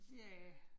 Ja